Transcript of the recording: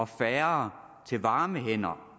færre varme hænder